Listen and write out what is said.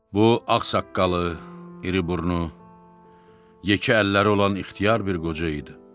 Bu ağsaqqalı, iriburnu, yekə əlləri olan ixtiyar bir qoca idi.